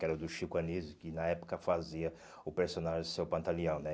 Que era o do Chico Anísio, que na época fazia o personagem do seu pantaleão, né?